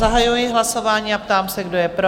Zahajuji hlasování a ptám se, kdo je pro?